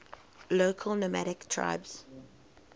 local nomadic tribes